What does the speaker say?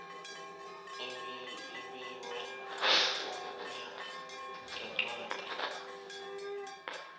labiwe ukuya ngencwadi